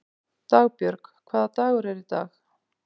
Dagbjörg, hvaða dagur er í dag?